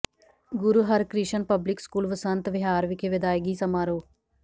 ਗੁਰੂ Harkrishan public school Vasant Vihar ਵਿਖੇ ਵਿਦਾਇਗੀ ਸਮਾਰੋਹ